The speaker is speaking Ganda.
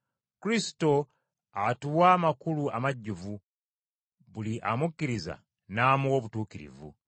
Kristo atuwa amakulu amajjuvu, buli amukkiriza n’amuwa obutuukirivu.